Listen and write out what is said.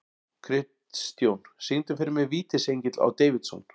Kristjón, syngdu fyrir mig „Vítisengill á Davidson“.